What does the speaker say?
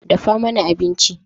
Dafa mana abinci.